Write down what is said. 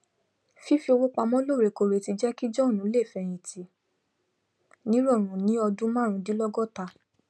fífi owó pamọ lọọrẹkẹrẹ ti jẹ kí john lè fẹyìntì nírọrùn ní ọdún marúndínlọgọtá